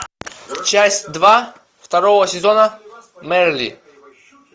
часть два второго сезона мерли